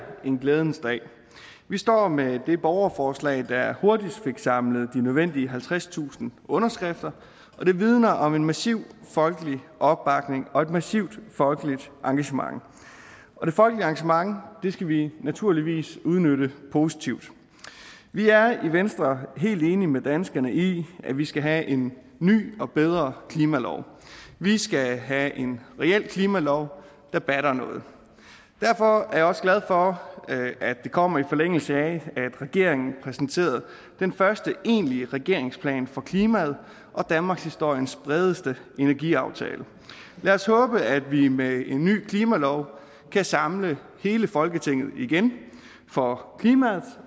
en glædens dag vi står med det borgerforslag der hurtigst fik samlet de nødvendige halvtredstusind underskrifter og det vidner om en massiv folkelig opbakning og et massivt folkeligt engagement og det folkelige engagement skal vi naturligvis udnytte positivt vi er i venstre helt enige med danskerne i at vi skal have en ny og bedre klimalov vi skal have en reel klimalov der batter noget derfor er jeg også glad for at det kommer i forlængelse af at regeringen præsenterede den første egentlige regeringsplan for klimaet og danmarkshistoriens bredeste energiaftale lad os håbe at vi med en ny klimalov kan samle hele folketinget igen for klimaets